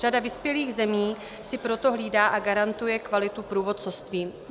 Řada vyspělých zemí si proto hlídá a garantuje kvalitu průvodcovství.